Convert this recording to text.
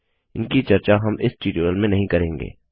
इनकी चर्चा हम इस ट्यूटोरियल में नहीं करेंगे